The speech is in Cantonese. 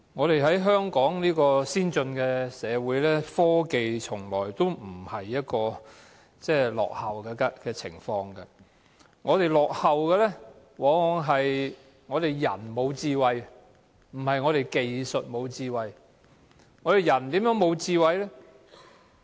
身處香港這個先進社會，科技從來也不落後，我們落後的往往是人沒有智慧，而不是技術沒有智慧。